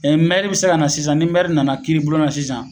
Ɛ mɛri be se ka na sisan ni mɛri nana kiiri bulon na sisan